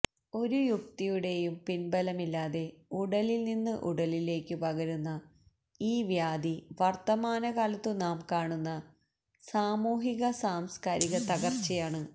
ഒരു യുക്തിയുടെയും പിൻബലമില്ലാതെ ഉടലിൽ നിന്ന് ഉടലിലേക്കു പകരുന്ന ഈ വ്യാധി വർത്തമാനകാലത്തു നാം കാണുന്ന സാമൂഹിക സാംസ്കാരിക തകർച്ചയാണ്